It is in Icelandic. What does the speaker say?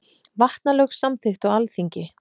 Vatnalög samþykkt á Alþingi.